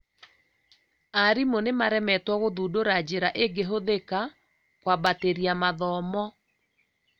Aarimũ nĩ maremetwo gũthundũra njira ĩngĩhũthĩka kũambatĩria mathomo